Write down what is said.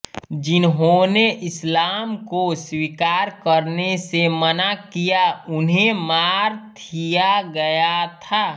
जिन्होंने इस्लाम को स्वीकार करने से मना किया उन्हें मार थिया गया था